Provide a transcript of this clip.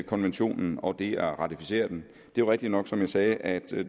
konventionen og det at ratificere den det er rigtigt nok som jeg sagde at